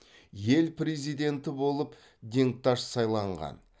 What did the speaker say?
ел президенті болып денкташ сайланған